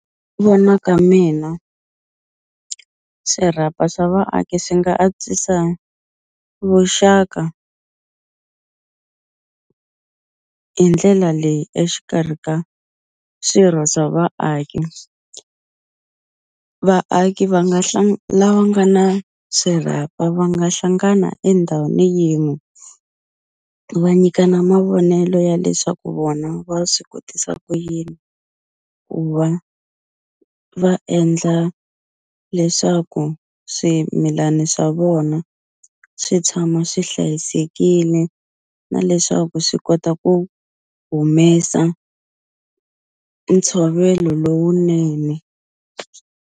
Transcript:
Vona ka mina swirhapa swa vaaki swi nga antswisa vuxaka hi ndlela leyi exikarhi ka swirho swa vaaki vaaki va nga lava nga na swirhapa va nga hlangana endhawini yin'we va nyikana mavonelo ya leswaku vona va swi kotisa ku yini ku va va endla leswaku swimilani swa vona swi tshama swi hlayisekile na leswaku swi kota ku humesa ntshovelo lowunene.